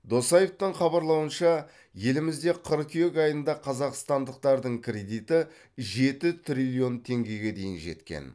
досаевтың хабарлауынша елімізде қыркүйек айында қазақстандықтардың кредиті жеті триллион теңгеге дейін жеткен